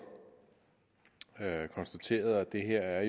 konstaterede at det her er